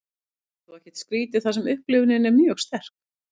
þetta er þó ekkert skrítið þar sem upplifunin er mjög sterk